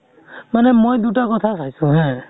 মানে মই দুটা কথা চাইছো হা।